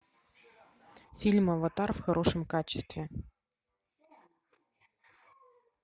фильм аватар в хорошем качестве